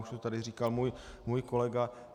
Už to tady říkal můj kolega.